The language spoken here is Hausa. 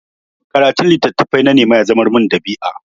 Karatun littattafai na nema ya zamar min ɗabi'a.